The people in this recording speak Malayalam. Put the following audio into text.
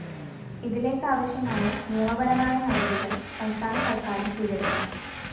ഇതിലേക്കാവശ്യമായ നിയമപരമായ നടപടികള്‍ സംസ്ഥാന സര്‍ക്കാരും സ്വീകരിക്കണം